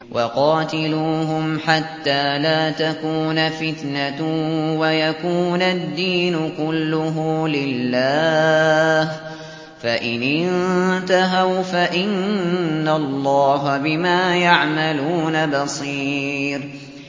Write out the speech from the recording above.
وَقَاتِلُوهُمْ حَتَّىٰ لَا تَكُونَ فِتْنَةٌ وَيَكُونَ الدِّينُ كُلُّهُ لِلَّهِ ۚ فَإِنِ انتَهَوْا فَإِنَّ اللَّهَ بِمَا يَعْمَلُونَ بَصِيرٌ